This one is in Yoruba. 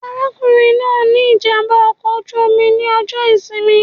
Arákùnrin náà ní ìjàmbá ọkọ̀ oju-omi ní ọjọ ìsinmi